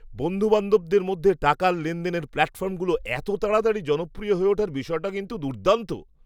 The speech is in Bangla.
বন্ধুবান্ধবদের মধ্যে টাকা লেনদেনের প্ল্যাটফর্মগুলো এত তাড়াতাড়ি জনপ্রিয় হয়ে ওঠার বিষয়টা কিন্তু দুর্দান্ত!